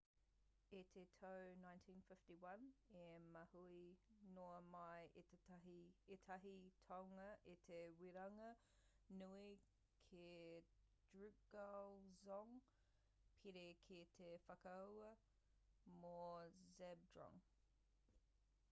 i te tau 1951 i mahue noa mai ētahi tāonga i te weranga nui ki drukgyal dzong pērā ki te whakaahua mō zhabdrung